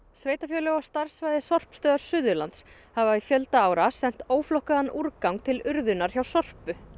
sveitarfélög á starfssvæði sorpstöðvar Suðurlands hafa í fjölda ára sent óflokkaðan úrgang til urðunar hjá Sorpu